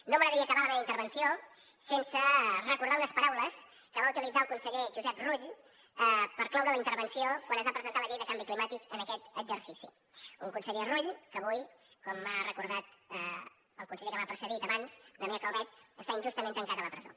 no m’agradaria acabar la meva intervenció sense recordar unes paraules que va utilitzar el conseller josep rull per cloure la intervenció quan es va presentar la llei de canvi climàtic en aquest exercici un conseller rull que avui com ha recordat el conseller que m’ha precedit abans damià calvet està injustament tancat a la presó